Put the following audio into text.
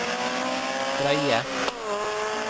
drøye